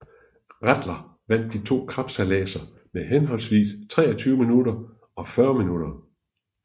Rattler vandt de to kapsejladser med henholdsvis 23 minutter og 40 minutter